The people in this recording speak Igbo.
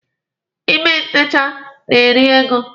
Ime ntecha na-eri ego.